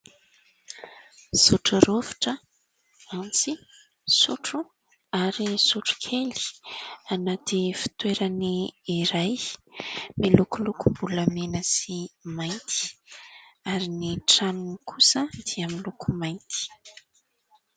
Sotro rovitra, antsy, sotro ary sotro kely anaty fitoerany iray miloko lokom-bolamena sy mainty ary ny tranony kosa dia miloko mainty.